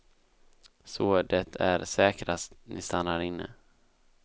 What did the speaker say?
Så det är säkrast ni stannar inne.